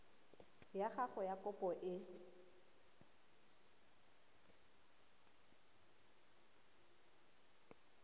ya gago ya kopo e